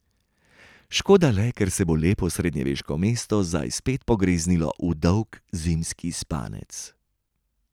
Škoda le, ker se bo lepo srednjeveško mesto zdaj spet pogreznilo v dolg zimski spanec.